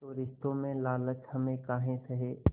तो रिश्तों में लालच हम काहे सहे